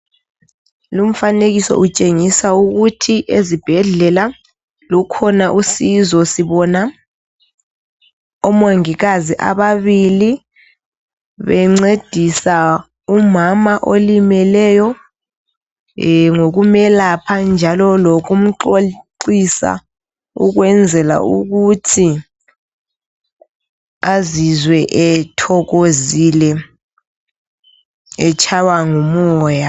Lomfanekiso utshengisa ukuthi ezibhendlela lukhona usizo sibona omongikazi ababili bencedisa umama olimeleyo eh ngokumelapha njalo lokumxoxisa ukwenzela ukuthi azizwe ethokozile etshaywa ngumoya.